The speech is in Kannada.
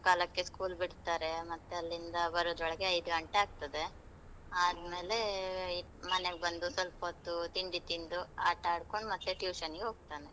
ಮೂರು ಮುಕ್ಕಾಲಕ್ಕೆ school ಬಿಡ್ತರೆ, ಮತ್ತೆ ಅಲ್ಲಿಂದ ಬರುದ್ರೊಳಗ್ ಐದು ಗಂಟೆ ಆಗ್ತದೆ, ಆದ್ಮೇಲೆ ಐ~ ಮನೆಗ್ ಬಂದು ಸ್ವಲ್ಪ ಹೊತ್ತು ತಿಂಡಿ ತಿಂದು, ಆಟ ಆಡ್ಕೊಂಡು ಮತ್ತೆ tuition ನಿಗ್ ಹೋಗ್ತನೆ.